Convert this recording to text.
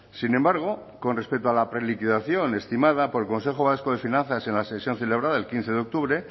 sin embargo con respecto a la preliquidación estimada por el consejo vasco de finanzas en la sesión celebrada el quince de octubre